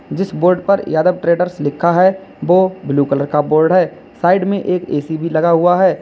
जिस बोर्ड पर यादव ट्रेडर्स लिखा है वो ब्लू कलर का बोर्ड है साइड में एक ए_सी भी लगा हुआ है।